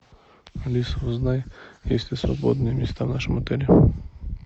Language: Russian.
алиса узнай есть ли свободные места в нашем отеле